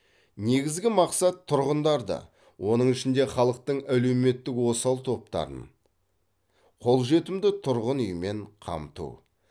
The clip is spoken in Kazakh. негізгі мақсат тұрғындарды оның ішінде халықтың әлеуметтік осал топтарын қолжетімді тұрғын үймен қамту